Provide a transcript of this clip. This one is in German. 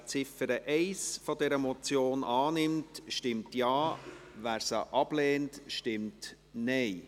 Wer die Ziffer 1 der Motion annimmt, stimmt Ja, wer dies ablehnt, stimmt Nein.